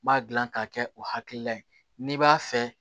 N b'a gilan k'a kɛ o hakilila ye n'i b'a fɛ